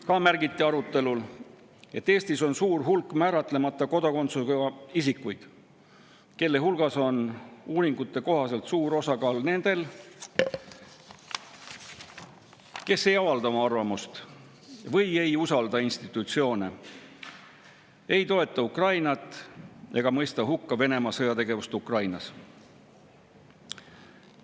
Ka märgiti arutelul, et Eestis on suur hulk määratlemata kodakondsusega isikuid, kelle hulgas on uuringute kohaselt suur osakaal nendel, kes ei avalda oma arvamust või ei usalda institutsioone, ei toeta Ukrainat ega mõista hukka Venemaa sõjategevust Ukrainas.